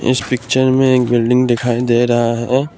इस पिक्चर में एक बिल्डिंग दिखाई दे रहा है औ--